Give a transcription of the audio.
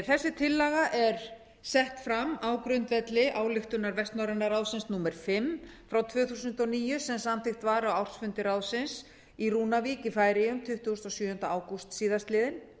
þessi tillaga er sett fram á grundvelli ályktunar vestnorræna ráðsins númer fimm tvö þúsund og níu sem samþykkt var á ársfundi ráðsins í rúnavík í færeyjum tuttugasta og sjöunda ágúst síðastliðinn